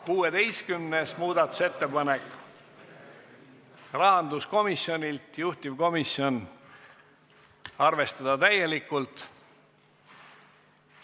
16. muudatusettepanek, rahanduskomisjonilt, juhtivkomisjon: arvestada täielikult.